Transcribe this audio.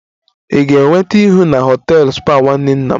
Ị ga-enweta ihu na họtel spa nwanne nna m